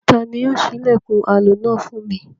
Ta ni yóò ṣí ilẹ̀kùn aloná fún mi?